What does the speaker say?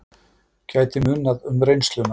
Gæti munað um reynsluna